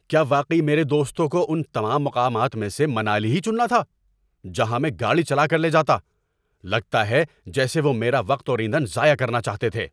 کیا واقعی میرے دوستوں کو ان تمام مقامات میں سے منالی ہی چننا تھا جہاں میں گاڑی چلا کر لے جاتا؟ لگتا ہے جیسے وہ میرا وقت اور ایندھن ضائع کرنا چاہتے ہیں!